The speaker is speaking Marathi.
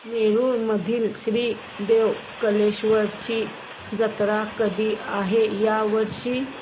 नेरुर मधील श्री देव कलेश्वर ची जत्रा कधी आहे या वर्षी